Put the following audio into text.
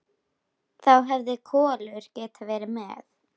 Þá hefði Kolur getað verið með.